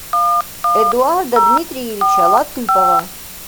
эдуарда дмитриевича латыпова